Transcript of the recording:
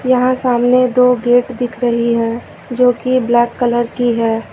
यहां सामने दो गेट दिख रही है जोकि ब्लैक कलर की है।